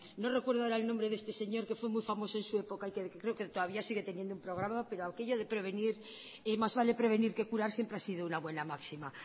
no recuerdo ahora el nombre de este señor que fue muy famoso en su época y que creo que todavía sigue teniendo un programa pero aquello de prevenir más vale prevenir que curar siempre ha sido una buena máxima